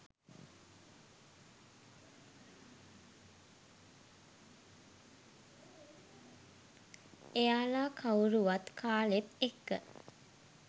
එයාල කවුරුවත් කාලෙත් එක්ක